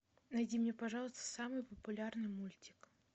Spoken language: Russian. найди мне пожалуйста самый популярный мультик